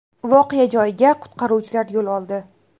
Voqea joyiga qutqaruvchilar yo‘l oldi.